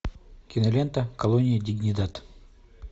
кинолента колония дигнидад